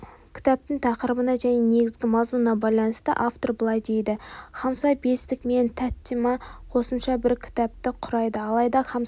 кітаптың тақырыбына және негізгі мазмұнына байланысты автор былай дейді хамса бестік мен таттима қосымша бір кітапты құрайды алайда хамсада